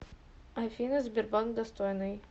афина сбербанк достойный